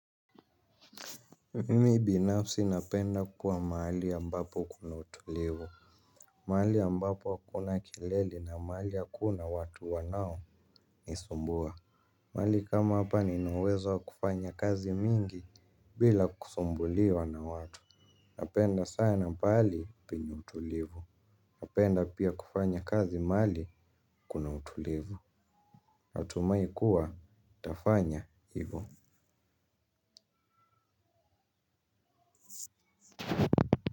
Mimi binafsi napenda kukuwa mahali ya ambapo kuna utulivu. Mahali ya ambapo hakuna kelele na mahali hakuna watu wanaonisumbua. Mahali kama hapa nina uwezo wa kufanya kazi mingi bila kusumbuliwa na watu. Napenda sana pahali penye utulivu. Napenda pia kufanya kazi mahali kuna utulivu. Natumai kuwa nitafanya hivyo.